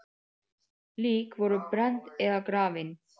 Lík voru brennd eða grafin.